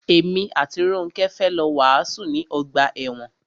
Èmi àti Rónkẹ́ fẹ́ lọ wàásù ní ọgbà ẹ̀wọn.